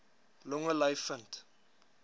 longe ly vind